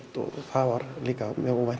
og það var líka mjög óvænt